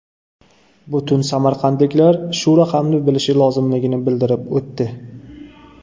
Butun samarqandliklar shu raqamni bilishi lozimligini bildirib o‘tdi.